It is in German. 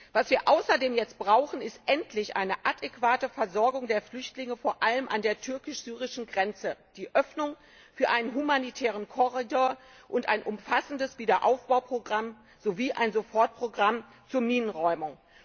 Was wir außerdem jetzt brauchen, ist endlich eine adäquate Versorgung der Flüchtlinge, vor allem an der türkisch syrischen Grenze, die Öffnung für einen humanitären Korridor und ein umfassendes Wiederaufbauprogramm sowie ein Sofortprogramm zur Minenräumung.